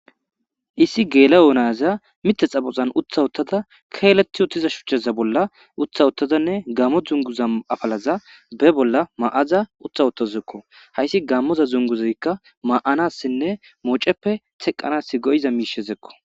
issi geela yoonayaza mite xaboxan utha uttada keeleti uttiza shuchchaza bolla utha uttadanne gammo dzunguza afalaza be bolla ma7aza utha uttazuekko hayssi gammoza zunguzaykka ma7anassinne mooceppe teqqanas go7iza miishezekko